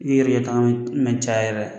N'i yɛrɛ mɛn caya yɛrɛ